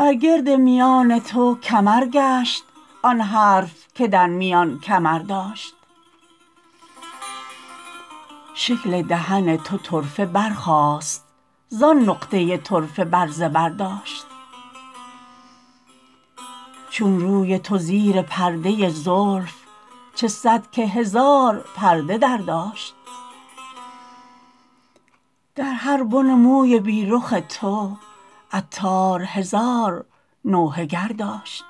بر گرد میان تو کمر گشت آن حرف که در میان کمر داشت شکل دهن تو طرفه برخاست زان نقطه طرفه بر زبر داشت چون روی تو زیر پرده زلف چه صد که هزار پرده در داشت در هر بن موی بی رخ تو عطار هزار نوحه گر داشت